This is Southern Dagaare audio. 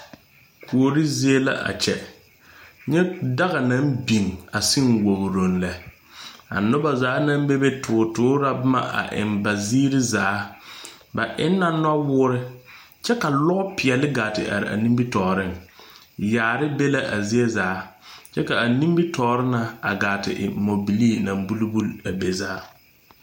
Kuore zie la a kyɛ ka daga biŋ wogroŋ lɛ.A noba zaa naŋ bebe toore la boma eŋ ba ziire zaa. Ba eŋ la nuwoore kyɛ ka lɔpeɛle ga te are a nimitɔɔreŋ. Yaare be la a zie zaa kyɛ ka a nimitɔɔre siŋ buli buli muɔ.